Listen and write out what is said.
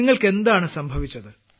നിങ്ങൾക്ക് എന്താണ് സംഭവിച്ചത്